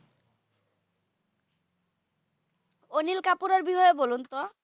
অনিল কাপুরের বিষয়ে বলুন তো?